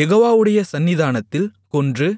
யெகோவாவுடைய சந்நிதானத்தில் கொன்று